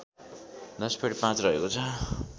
१०.५ रहेको छ